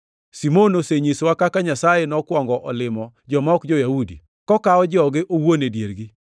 Simon osenyisowa kaka Nyasaye nokwongo olimo joma ok jo-Yahudi, kokawo joge owuon e diergi.